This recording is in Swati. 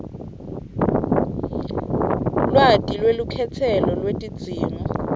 lwati lwelukhetselo lwetidzingo